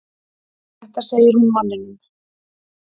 Þetta segir hún manninum.